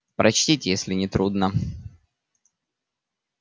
прочтите если не трудно